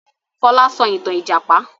Fọlá sọ ìtàn ìjàpá!